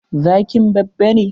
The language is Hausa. Zkin babba ne?